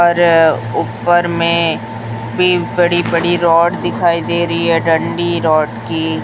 और ऊपर में बी बड़ी-बड़ी रॉड दिखाई दे रही है डंडी रॉड की --